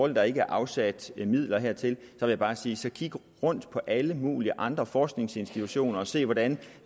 at der ikke er afsat midler hertil vil jeg bare sige så kig rundt på alle mulige andre forskningsinstitutioner og se hvordan